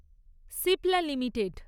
Cipla limited